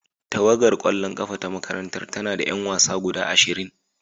Tawagar kwallon kafa ta makarantar tana da 'yan wasa guda ashirin.